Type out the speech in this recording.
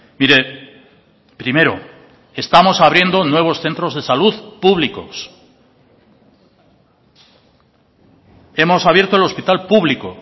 mire primero estamos abriendo nuevos centros de salud públicos hemos abierto el hospital público